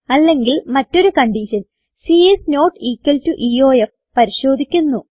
അല്ലെങ്കിൽ മറ്റൊരു condition c is not equal to EOF പരിശോധിക്കുന്നു